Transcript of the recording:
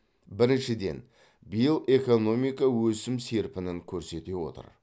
біріншіден биыл экономика өсім серпінін көрсете отыр